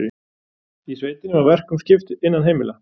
Í sveitinni var verkum skipt innan heimila.